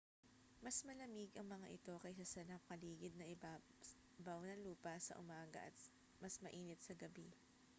mas malamig ang mga ito kaysa sa nakapaligid na ibabaw ng lupa sa umaga at mas mainit sa gabi